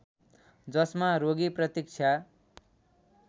जसमा रोगी प्रतीक्षा